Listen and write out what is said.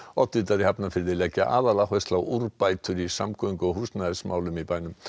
oddvitar í Hafnarfirði leggja aðaláherslu á úrbætur í samgöngu og húsnæðismálum í bænum